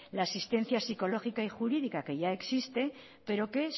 la asistencia psicológica y jurídica que ya existe pero que